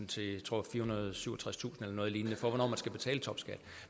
til jeg tror firehundrede og syvogtredstusind noget lignende for hvornår man skal betale topskat